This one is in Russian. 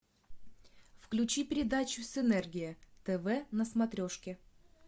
включи передачу синергия тв на смотрешке